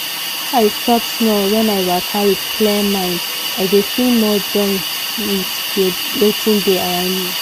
make i stop small when i waka with clear mind i dey feel more join with wetin dey around me